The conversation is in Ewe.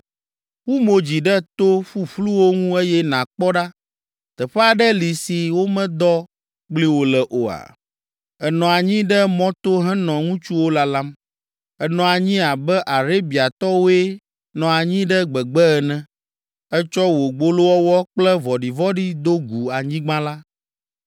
“Wu mo dzi ɖe to ƒuƒluwo ŋu eye nàkpɔ ɖa. Teƒe aɖe li si womedɔ kpli wò le oa? Ènɔ anyi ɖe mɔto henɔ ŋutsuwo lalam. Ènɔ anyi abe Arabiatɔwoe nɔ anyi ɖe gbegbe ene. Ètsɔ wò gbolowɔwɔ kple vɔ̃ɖivɔ̃ɖi do gu anyigba la.